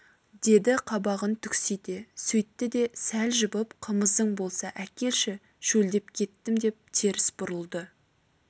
деді қабағын түксите сөйтті де сәл жібіп қымызың болса әкелші шөлдеп кеттім деп теріс бұрылды